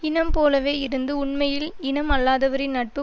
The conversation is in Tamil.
இனம் போலவே இருந்து உண்மையில் இனம் அல்லாதவரின் நட்பு